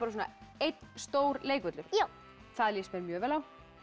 einn stór leikvöllur já það líst mér mjög vel á